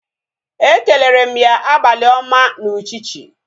Ekelere m ya abalị ọma na uchichi